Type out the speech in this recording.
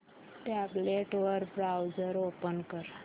tablet वर browser open कर